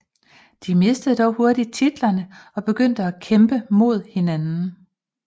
De mistede dog hurtigt titlerne og begyndte at kæmpe mod hinanden